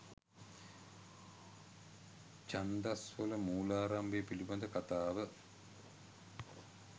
ඡන්දස් වල මූලාරම්භය පිළිබඳ කථාව